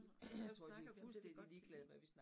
Vi snakker om det vi godt kan lide